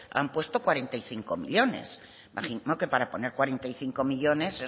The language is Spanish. han puesto cuarenta y cinco millónes me imagino que para poner cuarenta y cinco millónes